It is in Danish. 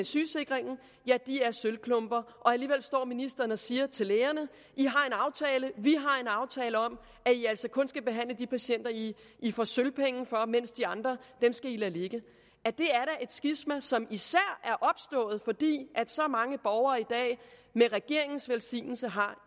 sygesikringen er sølvklumper alligevel står ministeren og siger til lægerne vi har en aftale om at i altså kun skal behandle de patienter i i får sølvpenge for mens de andre skal i lade ligge det er da et skisma som især er opstået fordi så mange borgere i dag med regeringens velsignelse har